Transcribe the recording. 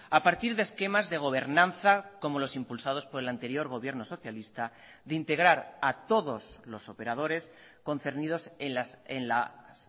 a partir de esquemas de gobernanza como los impulsados por el anterior gobierno socialista de integrar a todos los operadores concernidos en las